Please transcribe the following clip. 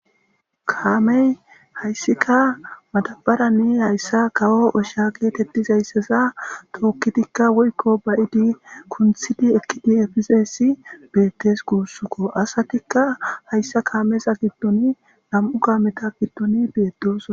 Kaamey hayssika madabaranne hayssa kawo osha geetettizaysseza tookkidikka woykko bayidi kunthidi ekkidi efizeessi beettes guussukko asatikka hayssa kaameza giddoni nam'u gaameta giddoni beetdosa